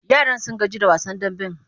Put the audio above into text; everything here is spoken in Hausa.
Yaran sun gaji da wasan damben.